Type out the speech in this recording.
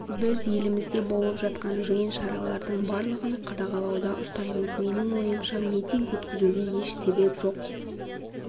біз елімізде болып жатқан жиын шаралардың барлығын қадағалауда ұстаймыз менің ойымша митинг өткізуге еш себеп жоқ